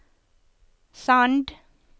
Sand